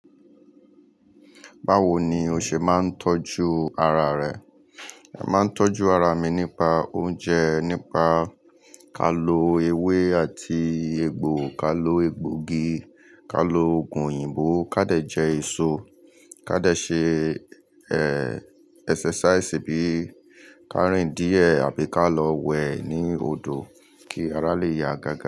Báwo ni o ṣe máa ń tọ́jú ara rẹ? Èmi máa ń tọ́jú ara mi nípa oúnjẹ, nípa ká lọ ewé àti egbò, ká lọ egbògi, ká lo ògùn òyìnbó, ká dẹ̀ jẹ èso, ká dẹ̀ ṣe, eh, exercise bí i ká rìn díẹ̀ àbí ká lọ wẹ̀ ní odò kí ara lè ya gágá.